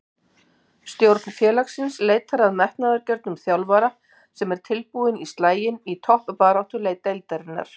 Stjórn félagsins leitar að metnaðargjörnum þjálfara sem er tilbúinn í slaginn í toppbaráttu deildarinnar.